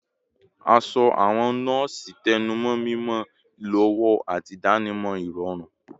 Aṣọ awọn nọọsi tẹnumọ mimọ, ilowo, ati idanimọ irọrun